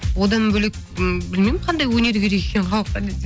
одан бөлек м білмеймін қандай өнер керек екенін халыққа десең